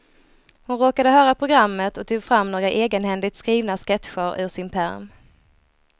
Hon råkade höra programmet och tog fram några egenhändigt skrivna sketcher ur sin pärm.